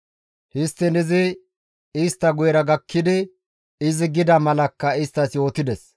Histtiin izi istta guyera gakkidi izi gida malakka isttas yootides.